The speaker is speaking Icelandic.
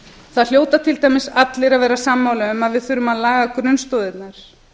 það hljóta til dæmis allir að vera sammála um að við þurfum að laga grunnstoðirnar